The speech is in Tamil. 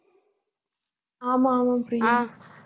ஆமா ஆமா பிரியா